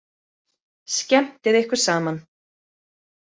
Skemmtið ykkur saman.